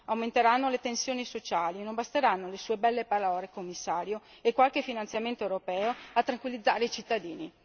Aumenteranno le tensioni sociali e non basteranno le sue belle parole, signor Commissario, e qualche finanziamento europeo a tranquillizzare i cittadini.